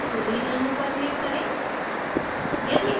fluorine अणु पर click करें